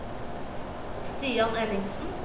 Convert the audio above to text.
Stian Ellingsen